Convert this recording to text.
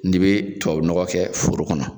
N'i bi tubabu nɔgɔ kɛ foro kɔnɔ